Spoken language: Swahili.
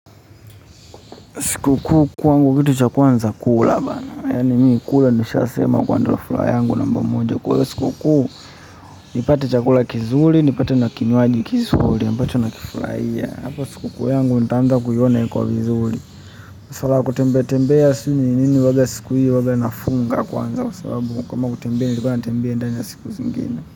Siku kuu kwangu kitu cha kwanza kula bana yaani mimi kula nishasema kwa ndoa fula yangu namba moja. Kwa hiyo siku kuu nipate chakula kizuri, nipate na kinywaji kizuri, ambacho na kifurahiya. Hapo siku kuu yangu nitaanza kuiona iko vizuri. Ufala wa kutembea tembea sijui ni nini huanga siku hiyo huwa nafunga kwanza kwa sababu kama kutembea nilipo nitembee ndani ya siku zingine.